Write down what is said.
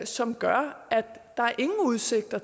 som gør at der ingen udsigter